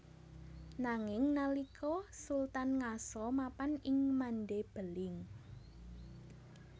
Nanging nalika Sultan ngaso mapan ing Mande Beling